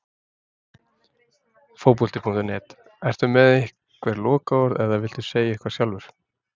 Fótbolti.net: Ertu með einhver lokaorð eða viltu segja eitthvað sjálfur?